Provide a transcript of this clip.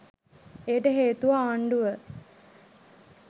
එයට හේතුව ආණ්ඩුව